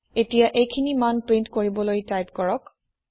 এতিয়া এইখিনি মান প্ৰীন্ট কৰিবলৈ টাইপ কৰক